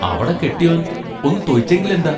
അവട കെട്ടിയോൻ ഒന്നു തൊയിച്ചെങ്കിലെന്താ?